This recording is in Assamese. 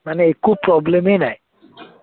মানে একো problem ই নাই